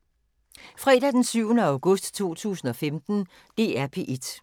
DR P1